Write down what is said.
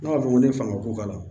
Ne b'a fɔ ko ne fanga ko k'a la